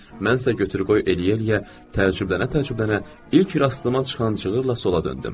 Mən isə götür-qoy eləyə-eləyə, təcrübələnə-təcrübələnə ilk rastıma çıxan cığırla sola döndüm.